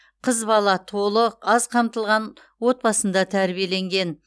қыз бала толық аз қамтылған отбасында тәрбиеленген